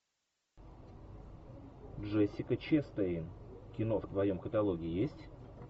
джессика честейн кино в твоем каталоге есть